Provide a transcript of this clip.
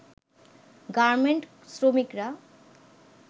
garment শ্রমিকরা